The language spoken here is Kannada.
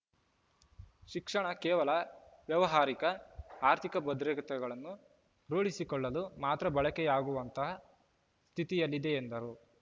ಶಿಕ್ಷಣ ಕೇವಲ ವ್ಯಾವಹಾರಿಕ ಆರ್ಥಿಕ ಭದ್ರತೆಗಳನ್ನು ರೂಢಿಸಿಕೊಳ್ಳಲು ಮಾತ್ರ ಬಳಕೆಯಾಗುವಂತ ಸ್ಥಿತಿಯಲ್ಲಿದೆ ಎಂದರು